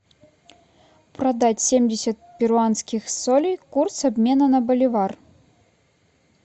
продать семьдесят перуанских солей курс обмена на боливар